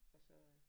Og så øh